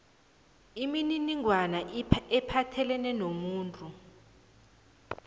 imininingwana ephathelene nomuntu